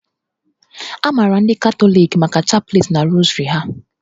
A maara ndị Katọliki maka chapleti na rosary ha